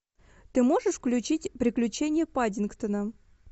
ты можешь включить приключения паддингтона